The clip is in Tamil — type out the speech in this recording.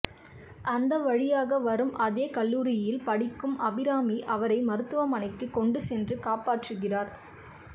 அந்த வழியாக வரும் அதே கல்லூரியில் படிக்கும் அபிராமி அவரை மருத்துவமனைக்கு கொண்டு சென்று காப்பாற்றுகிறார்